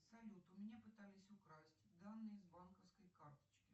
салют у меня пытались украсть данные с банковской карточки